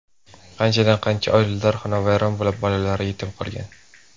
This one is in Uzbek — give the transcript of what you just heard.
Qanchadan qancha oilalar xonavayron bo‘lib, bolalar yetim qolgan.